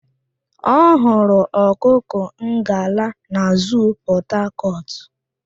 Ọ hụrụ ọkụkọ ngala na zuu Pọtakọtụ